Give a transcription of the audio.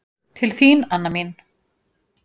Til þín, Anna mín.